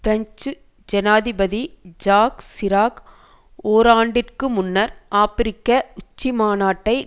French ஜனாதிபதி Jacques Chirac ஓராண்டிற்கு முன்னர் ஆப்பிரிக்க உச்சி மாநாட்டை